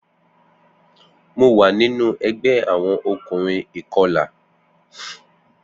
Mo wa ninu ẹgbẹ awọn ọkunrin ikọla.